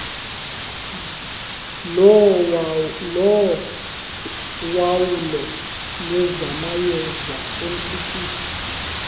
lowawulo lwezamayeza mcc